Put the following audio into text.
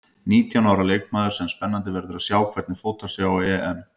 Nítján ára leikmaður sem spennandi verður að sjá hvernig fótar sig á EM.